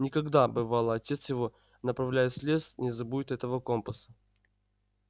никогда бывало отец его направляясь в лес не забудет этого компаса